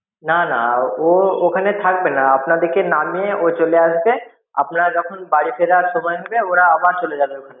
না না ও ওখানে থাকবে না আপনাদিকে নামিয়ে ও চলে আসবে আপনারা যখন বাড়ি ফেরার সময় হবে ওরা আবার চলে যাবে ওখানে.